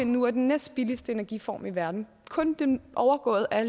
nu er den næstbilligste energiform i verden kun overgået af